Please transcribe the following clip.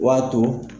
O b'a to